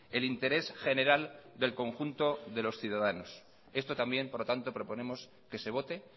el interés general del conjunto de los ciudadanos esto también por lo tanto proponemos que se vote